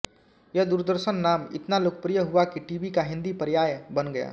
यह दूरदर्शन नाम इतना लोकप्रिय हुआ कि टीवी का हिंदी पर्याय बन गया